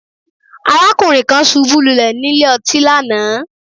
Arákùnrin kan ṣubú lulé nílé ọtí lánàá